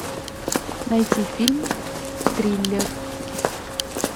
найти фильм триллер